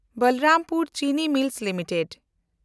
Balrampur Chini Mills limited